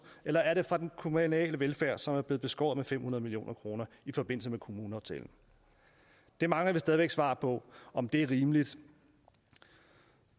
eller er det fra den kommunale velfærd som er blevet beskåret med fem hundrede million kroner i forbindelse med kommuneaftalen vi mangler stadig væk svar på om det er rimeligt